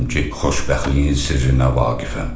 Demədim ki, xoşbəxtliyin sirrinə vaqifəm.